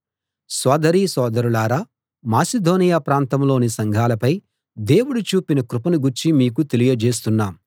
సోదరీ సోదరులారా మాసిదోనియ ప్రాంతంలోని సంఘాలపై దేవుడు చూపిన కృపను గూర్చి మీకు తెలియజేస్తున్నాం